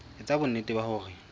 e etsa bonnete ba hore